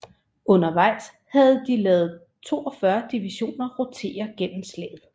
Undervejs havde de ladet 42 divisioner rotere gennem slaget